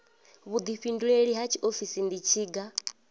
vhuḓifhinduleli ha tshiofisi ndi tshiga